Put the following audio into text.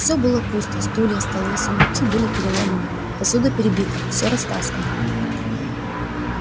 всё было пусто стулья столы сундуки были переломаны посуда перебита всё растаскано